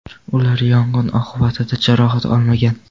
Ular yong‘in oqibatida jarohat olmagan.